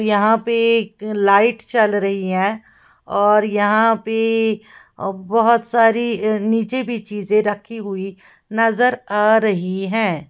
यहां पे एक लाइट चल रही है और यहां पे बहुत सारी नीचे भी चीजें रखी हुई नजर आ रही है।